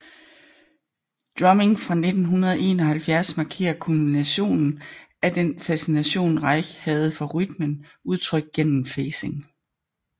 Drumming fra 1971 markerer kulminationen af den fascination Reich havde for rytmen udtrykt gennem phasing